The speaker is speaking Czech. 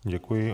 Děkuji.